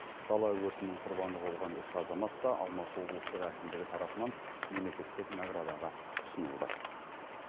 дала өртінің құрбаны болған үш азамат та алматы облыстық әкімдігі тарапынан мемлекеттік наградаға ұсынылды